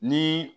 Ni